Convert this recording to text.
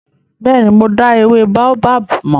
Bẹ́ẹ̀ni, mo dá ewé Baobab mọ̀.